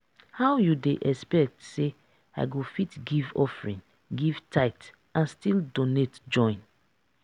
how you dey expect say i go fit give offering give tithe and still donate join?